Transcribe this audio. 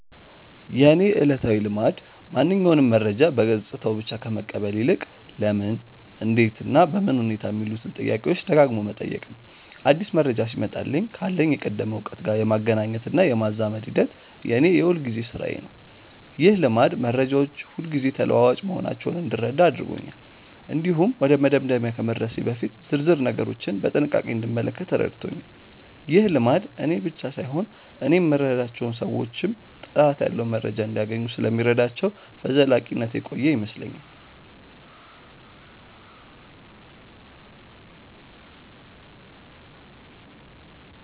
የእኔ ዕለታዊ ልማድ ማንኛውንም መረጃ በገጽታው ብቻ ከመቀበል ይልቅ "ለምን? እንዴት? እና በምን ሁኔታ" የሚሉትን ጥያቄዎች ደጋግሞ መጠየቅ ነው። አዲስ መረጃ ሲመጣልኝ ካለኝ የቀደመ እውቀት ጋር የማገናኘትና የማዛመድ ሂደት የእኔ የሁልጊዜ ሥራዬ ነው። ይህ ልማድ መረጃዎች ሁልጊዜ ተለዋዋጭ መሆናቸውን እንድረዳ አድርጎኛል። እንዲሁም ወደ መደምደሚያ ከመድረሴ በፊት ዝርዝር ነገሮችን በጥንቃቄ እንድመለከት ረድቶኛል። ይህ ልማድ እኔን ብቻ ሳይሆን እኔ የምረዳቸውን ሰዎችም ጥራት ያለው መረጃ እንዲያገኙ ስለሚረዳቸው በዘላቂነት የቆየ ይመስለኛል።